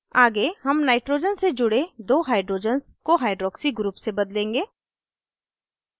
आगे हम nitrogen से जुड़े दो hydrogens को hydroxy group से बदलेंगे